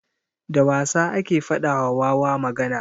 Da wasa ake faɗa wa wawa magana.